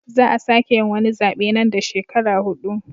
Za a sake yin wani zabe nan da shekaru hudu.